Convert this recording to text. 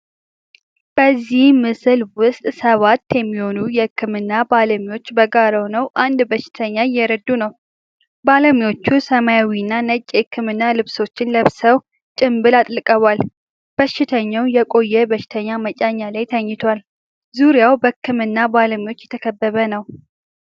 በዚህ ምስል ውስጥ ሰባት የሚሆኑ የህክምና ባለሙያዎች በጋራ ሆነው አንድ በሽተኛ እየረዱ ነው። ባለሙያዎቹ ሰማያዊና ነጭ የህክምና ልብሶችን ለብሰው ጭምብል አጥልቀዋል፤ በሽተኛው የቆየ በሽተኛ መጫኛ ላይ ተኝቷል። ዙሪያው በህክምና ባለሙያዎች የተከበበ ነው።